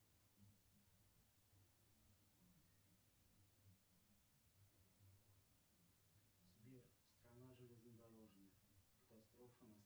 сбер страна железнодорожная катастрофа